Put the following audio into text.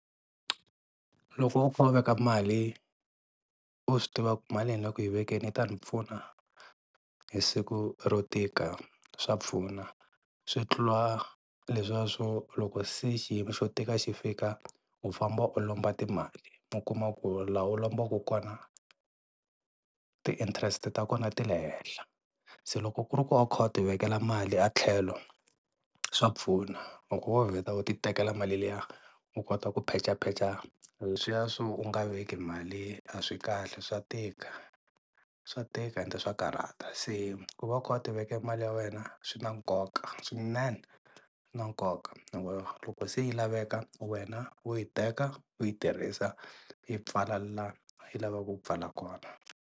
Loko veka mali u swi tiva ku mali leyi ni le ku yi vekeni yi ta ni pfuna hi siku ro tika swa pfuna, swi tlula leswiya swo loko se xiyimo xo tika xi fika u famba u lomba timali u kuma ku laha u lombaka kona ti interest ta kona ti le henhla, se loko ku ri ku a wu kha u ti vekela mali etlhelo swa pfuna loko wo vheta u ti tekela mali liya u kota ku phechapecha leswiya swo u nga veki mali a swi kahle swa tika, swa tika ende swa karhata. Se ku va u kha u ti vekela mali ya wena swi na nkoka swinene na nkoka loko loko se yi laveka wena wo yi teka u yi tirhisa i pfala la yi lavaka ku pfala kona.